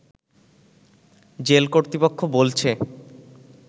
jail কর্তৃপক্ষ বলছে